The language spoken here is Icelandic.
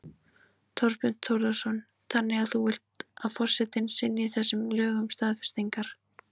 Þorbjörn Þórðarson: Þannig að þú vilt að forsetinn synji þessum lögum staðfestingar?